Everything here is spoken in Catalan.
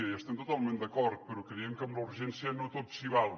i hi estem totalment d’acord però creiem que amb la urgència no tot s’hi val